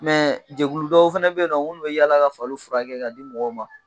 jɛkuludɔw fɛnɛ bɛ ye nɔ nk'olu bɛ yaala ka fali furakɛ ka di mɔgɔw ma.